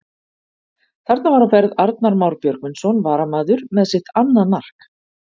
Þarna var á ferð Arnar Már Björgvinsson varamaður með sitt annað mark!